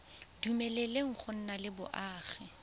dumeleleng go nna le boagi